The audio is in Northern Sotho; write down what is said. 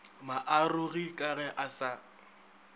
maarogi ka ge a sa